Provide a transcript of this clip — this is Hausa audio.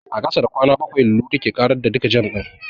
A ƙasa da kwana bakwai, Lulu take ƙarar da duka jam ɗin.